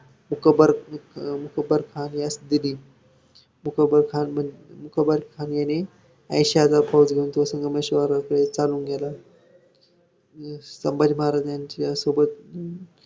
मी विचारून सांगते आधी तुम्हाला सांगते ‌.